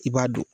I b'a dɔn